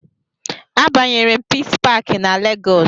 A banyere m pisi pakị na lagos